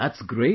That's great